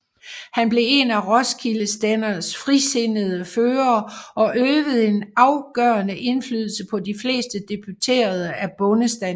Han blev en af Roskilde Stænders frisindede førere og øvede en afgørende indflydelse på de fleste deputerede af bondestanden